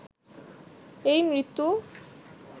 এই মৃত্যু